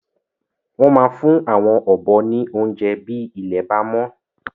Wọn máa fún àwon ọ̀bọ ní oúnjẹ bi ilé bá mọ